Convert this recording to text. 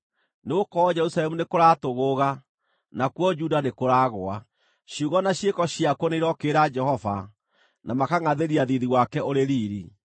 Nĩgũkorwo Jerusalemu nĩkũratũgũũga, nakuo Juda nĩkũragũa; ciugo na ciĩko ciakuo nĩirokĩrĩra Jehova na makangʼathĩria thiithi wake ũrĩ riiri.